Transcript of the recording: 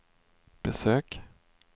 besök